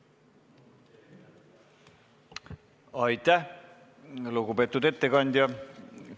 Aitäh, lugupeetud ettekandja!